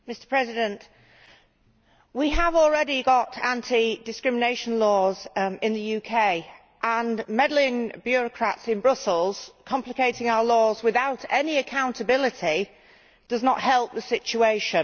Mr President, we have already got anti discrimination laws in the UK, and meddling bureaucrats in Brussels complicating our laws without any accountability do not help the situation.